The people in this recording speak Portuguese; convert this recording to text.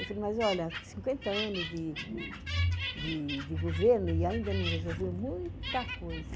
Eu falei, mas olha, cinquenta anos de de de governo e ainda não resolveu muita coisa.